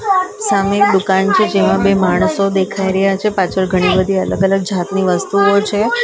સામે એક દુકાન છે જેમાં બે માણસો દેખાઈ રહ્યા છે પાછળ ઘણી બધી અલગ અલગ જાતની વસ્તુઓ છે --